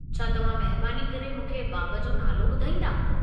छा तव्हां महिरबानी करे मूंखे बाब जो नालो ॿुधाईंदा?